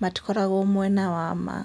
matikoragwo mwena wa ma.